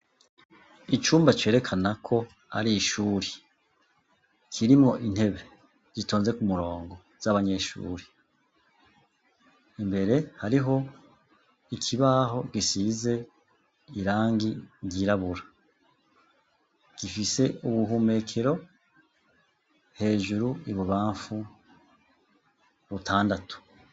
Icumba cerekana ko ari ishuri, kirimwo intebe zitonze ku murongo z'abanyeshuri, imbere hariho ikibaho gisize irangi ryirabura, gifise ubuhumekero hejuru ibubamfu butandatu.